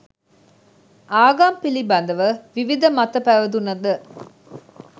ආගම් පිළිබඳව විවිද මත පැවතුනද